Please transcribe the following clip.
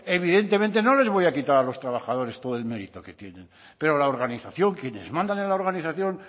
evidentemente no les voy a quitar a los trabajadores todo el mérito que tienen pero la organización quienes mandan en la organización